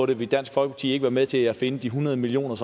det vil dansk folkeparti ikke være med til at finde de hundrede million